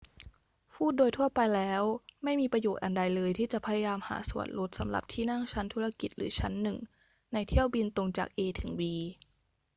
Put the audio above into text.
พูดโดยทั่วไปแล้ว ไม่มีประโยชน์อันใดเลยที่จะพยายามหาส่วนลดสำหรับที่นั่งชั้นธุรกิจหรือชั้นหนึ่งในเที่ยวบินตรงจาก a ถึง b